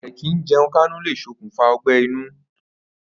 Àì̀kìíje̩un-káńú le sokùnfà ó̩gbé̩-inú.